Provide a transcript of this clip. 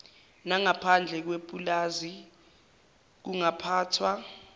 nangaphandle kwepulazi kungaphathwa